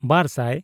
ᱵᱟᱨᱼᱥᱟᱭ